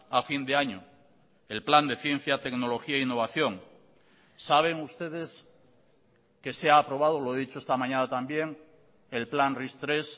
a fin de año el plan de ciencia tecnología e innovación saben ustedes que se ha aprobado lo he dicho esta mañana también el plan ris tres